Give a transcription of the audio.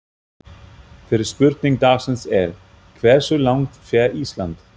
Fyrri spurning dagsins er: Hversu langt fer Ísland?